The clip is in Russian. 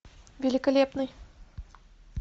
великолепный